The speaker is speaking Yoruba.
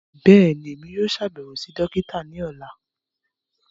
Bẹ́ẹ̀ni, Emi yóò ṣabẹwo si dokita ni ọla.